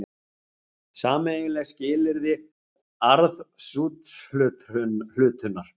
Sameiginleg skilyrði arðsúthlutunar.